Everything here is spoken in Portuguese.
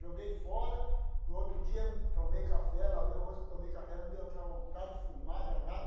Joguei fora, no outro dia tomei café, lavei o rosto, tomei café, me deu aquela vontade de fumar, danada.